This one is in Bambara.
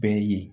Bɛɛ ye